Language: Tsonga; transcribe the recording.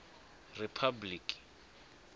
riphabliki